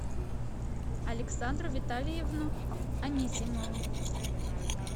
александру витальевну анисимову